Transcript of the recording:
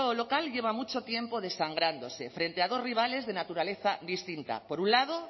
local lleva mucho tiempo desangrándose frente a dos rivales de naturaleza distinta por un lado